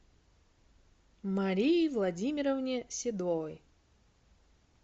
марии владимировне седовой